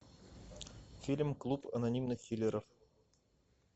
фильм клуб анонимных киллеров